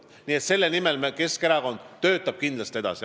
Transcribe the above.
Nii et selle eesmärgi nimel töötab Keskerakond kindlasti edasi.